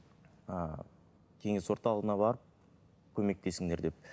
а кеңес орталығына барып көмектесіңдер деп